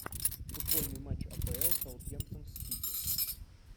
футбольный матч апл саутгемптон с сити